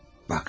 Bax.